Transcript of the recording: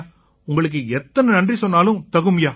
உங்களுக்கு எத்தனை நன்றி சொன்னாலும் தகும்யா